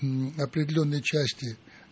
определённой части